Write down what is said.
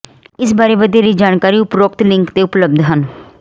ਇਸ ਬਾਰੇ ਵਧੇਰੇ ਜਾਣਕਾਰੀ ਉਪਰੋਕਤ ਲਿੰਕ ਤੇ ਉਪਲਬਧ ਹੈ